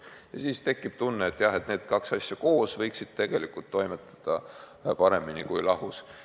Ja siis tekib tunne, et jah, need kaks asutust koos võiksid toimetada paremini kui lahus.